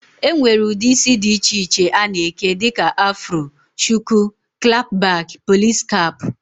E nwere ụdị isi dị iche iche a na-eke dịka afro, shuku, klap bak, polisi kap